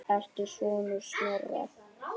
Ertu sonur Snorra?